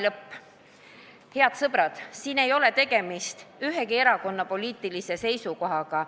" Head sõbrad, siin ei ole tegemist ühegi erakonna poliitilise seisukohaga.